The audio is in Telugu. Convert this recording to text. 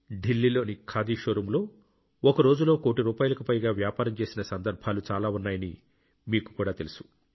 ఢిల్లీలోని ఖాదీ షోరూమ్ ఒక రోజులో కోటి రూపాయలకు పైగా వ్యాపారం చేసిన సందర్భాలు చాలా ఉన్నాయని మీకు కూడా తెలుసు